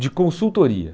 de consultoria.